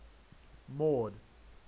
mord